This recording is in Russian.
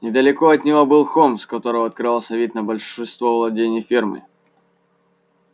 недалеко от него был холм с которого открывался вид на большинство владений фермы